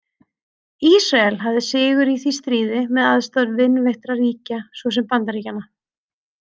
Ísrael hafði sigur í því stríði með aðstoð vinveittra ríkja svo sem Bandaríkjanna.